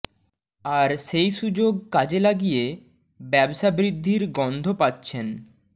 আর সেই সুযোগ কাজে লাগিয়ে ব্যবসা বৃদ্ধির গন্ধ পাচ্ছেন